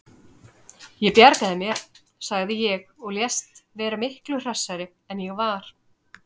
Ég bjarga mér, sagði ég og lést vera miklu hressari en ég var.